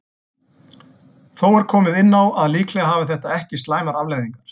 Þó er komið inn á að líklega hafi þetta ekki slæmar afleiðingar.